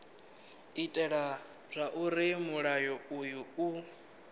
itela zwauri mulayo uyu u